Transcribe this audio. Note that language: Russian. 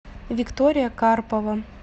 виктория карпова